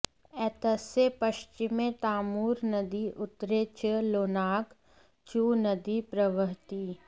एतस्य पश्चिमे तामूर् नदी उत्तरे च लोनाक् चु नदी प्रवहति